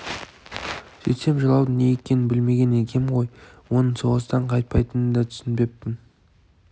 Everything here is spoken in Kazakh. сөйтсем жылаудың не екенін білмеген екем ғой оның соғыстан қайтпайтынын да түсінбеппін